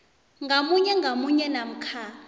ngamunye ngamunye namkha